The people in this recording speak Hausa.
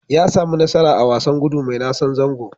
Ya sami nasara a wasan gudu mai nasan zango.